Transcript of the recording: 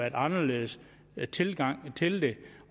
en anderledes tilgang til det